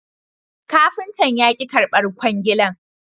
Kafintan ya ki karbar kwangilan